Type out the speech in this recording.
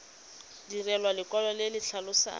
direlwa lekwalo le le tlhalosang